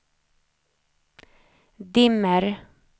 dimmer